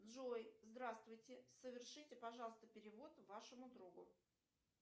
джой здравствуйте совершите пожалуйста перевод вашему другу